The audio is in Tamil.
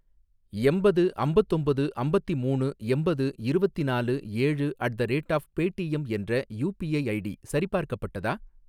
எம்பது அம்பத்தொம்பது அம்பத்திமூணு எம்பது இருவத்திநாலு ஏழு at the rate of Paytm என்ற யூபிஐ ஐடி சரிபார்க்கப்பட்டதா?